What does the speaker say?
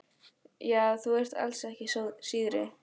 Já, þú ert alls ekki síðri.